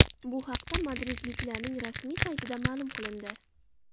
Bu haqda madridliklarning rasmiy saytida ma’lum qilindi .